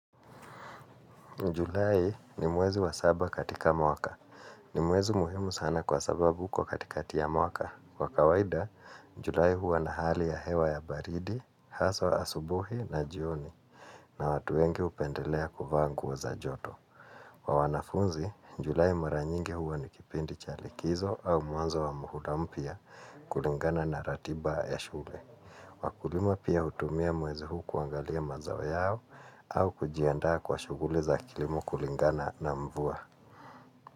Julai ni mwezi wa saba katika mwaka. Ni mwezi muhimu sana kwa sababu uko katika ya mwaka. Kwa kawaida, julai huwa na hali ya hewa ya baridi, haswa asubuhi na jioni na watu wengi hupendelea kuvaa nguo za joto. Kwa wanafunzi, julai maranyingi huwa ni kipindi cha likizo au mwanzo wa muhula mpya kulingana na ratiba ya shule. Wakulima pia hutumia mwezi huu kuangalia mazao yao au kujiandaa kwa shughuli za kilimo kulingana na mvua.